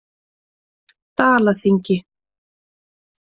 Dalaþingi